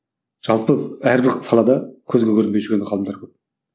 жалпы әрбір салада көзге көрінбей жүрген ғалымдар көп